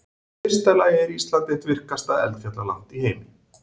Í fyrsta lagi er Ísland eitt virkasta eldfjallaland í heimi.